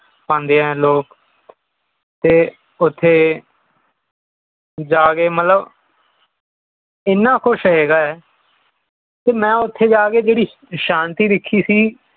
ਆਉਂਦੇ ਹੈਂ ਲੋਗ ਤੇ ਓਥੇ ਜਾਕੇ ਮਤਲਬ ਇਹਨਾਂ ਕੁਝ ਹੈਗਾ ਹੈ ਤੇ ਮੈਂ ਓਥੇ ਜਾ ਕੇ ਮੈਂ ਜਿਹੜੀ ਸ਼ਾਨਤੀ ਦੇਖੀ ਸੀ